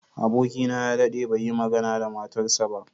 Abokina ya daɗe bai yi magana da matarsa ​​ba.